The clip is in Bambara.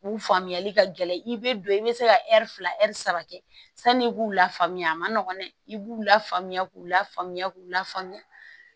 U faamuyali ka gɛlɛn i bɛ don i bɛ se ka fila ɛri saba kɛ sani i b'u lafaamuya a ma nɔgɔn dɛ i b'u lafaamuya k'u la faamuya k'u la faamuya